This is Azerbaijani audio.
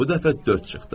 Bu dəfə dörd çıxdı.